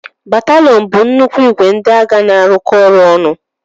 Bataliyonu bụ nnukwu ìgwè ndị agha na-arụkọ ọrụ ọnụ.